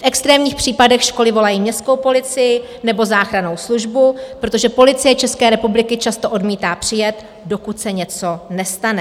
V extrémních případech školy volají městskou policii nebo záchrannou službu, protože Policie České republiky často odmítá přijet, dokud se něco nestane.